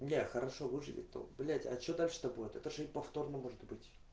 не хорошо выглядеть то блять а что так чтобы ты тоже и повторно может быть